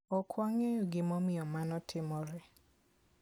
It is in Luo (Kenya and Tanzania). Ok wang'eyo gimomiyo mano timore.